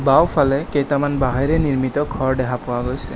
বাওঁফালে কেইটামান বাঁহেৰে নিৰ্মিত ঘৰ দেখা পোৱা গৈছে।